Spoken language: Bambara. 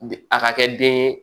A ka kɛ den ye